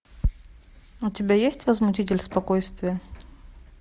у тебя есть возмутитель спокойствия